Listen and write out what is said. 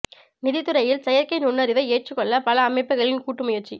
நிதித் துறையில் செயற்கை நுண்ணறிவை ஏற்றுக்கொள்ள பல அமைப்புகளின் கூட்டு முயற்சி